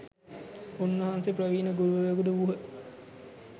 උන්වහන්සේ ප්‍රවීණ ගුරුවරයෙකු ද වූහ.